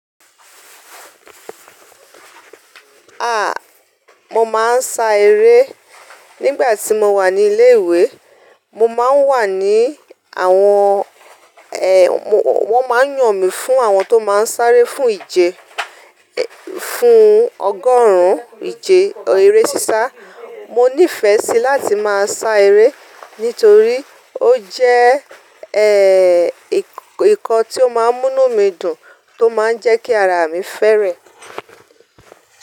A! Mo máa ń sá eré nígbà tí mo wà ní ilé ìwé. Mo máa ń wà ní àwọn, ẹ, wọ́n máa ń yàn mi fún àwọn tó máa ń sáré fún ìje, fún ọgọ́rùn-ún ìje eré sísá. Mo nífẹ̀ẹ́ sí láti máa sá eré nítorí ó jẹ́, ẹ, nǹkan tí ó máa ń múnú mí dùn, tó máa ń jẹ́ kí ara mi fẹ́rẹ́.